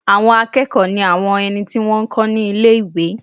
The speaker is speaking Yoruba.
Àwọn akẹ́kọ̀ọ́ ní àwọn ẹni tí wọ́n n kọ́ ní ilé-ìwé